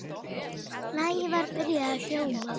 Lagið var byrjað að hljóma.